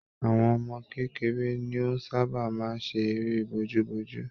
Àwọn ọmọ kékeré ni o sabaa máa ń ṣe eré bojú bojú.